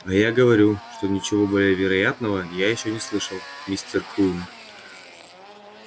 а я говорю что ничего более вероятного я ещё не слышал мистер куинн